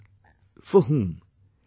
After all, for whom